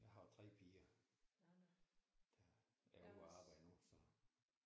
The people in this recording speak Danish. Jeg har 3 piger der er ude og arbejde nu så